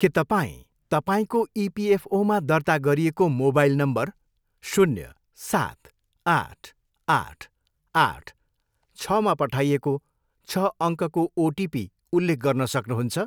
के तपाईँँ तपाईँँको इपिएफओमा दर्ता गरिएको मोबाइल नम्बर शून्य, सात, आठ, आठ, आठ, छमा पठाइएको छ अङ्कको ओटिपी उल्लेख गर्न सक्नुहुन्छ?